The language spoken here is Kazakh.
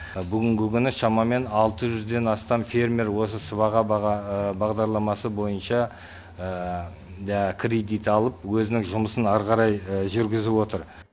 бүгінгі күні шамамен алты жүзден астам фермер осы сыбаға бағдарламасы бойынша кредит алып өзінің жұмысын ары қарай жүргізіп отыр